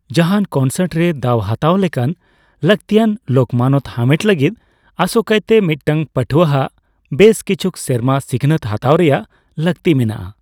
ᱡᱟᱦᱟᱱ ᱠᱚᱱᱥᱟᱨᱴ ᱨᱮ ᱫᱟᱣ ᱦᱟᱛᱟᱣ ᱞᱮᱠᱟᱱ ᱞᱟᱹᱠᱛᱤᱭᱟᱱ ᱞᱮᱠᱢᱟᱱᱚᱛ ᱦᱟᱢᱮᱴ ᱞᱟᱹᱜᱤᱫ ᱟᱥᱳᱠᱟᱭᱛᱮ ᱢᱤᱫᱴᱟᱝ ᱯᱟᱹᱴᱷᱣᱟᱹ ᱟᱜ ᱵᱮᱥ ᱠᱤᱪᱷᱩᱠ ᱥᱮᱨᱢᱟ ᱥᱤᱠᱷᱱᱟᱹᱛ ᱦᱟᱛᱟᱣ ᱨᱮᱭᱟᱜ ᱞᱟᱹᱠᱛᱤ ᱢᱮᱱᱟᱜᱼᱟ ᱾